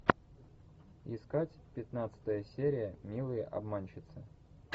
искать пятнадцатая серия милые обманщицы